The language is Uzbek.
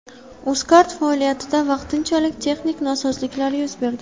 UzCard faoliyatida vaqtinchalik texnik nosozliklar yuz berdi.